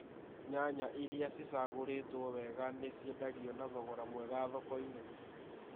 Nyanya iria cicagũrĩtwo wega nĩ ciendagio na thogora mwega thoko-inĩ